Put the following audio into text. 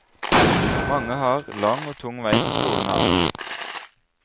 Mange har lang og tung vei til skolen her.